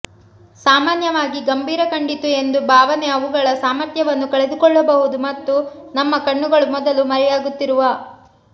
ಸಾಮಾನ್ಯವಾಗಿ ಗಂಭೀರ ಕಂಡಿತು ಎಂದು ಭಾವನೆ ಅವುಗಳ ಸಾಮರ್ಥ್ಯವನ್ನು ಕಳೆದುಕೊಳ್ಳಬಹುದು ಮತ್ತು ನಮ್ಮ ಕಣ್ಣುಗಳು ಮೊದಲು ಮರೆಯಾಗುತ್ತಿರುವ